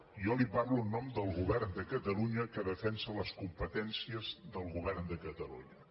jo li parlo en nom del govern de catalunya que defensa les competències del govern de catalunya